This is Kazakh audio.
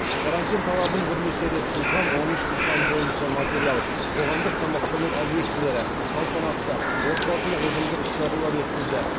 карантин талабын бірнеше рет бұзған он үш нысан бойынша материал